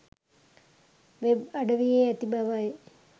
web අඩවියේ ඇති බවයි